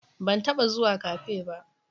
Ban taba zuwa Cafe ba